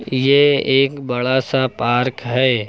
ये एक बड़ा सा पार्क है।